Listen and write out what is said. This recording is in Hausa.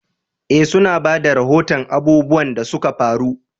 Eh, su na ba da rahoton abubuwan da suka faru.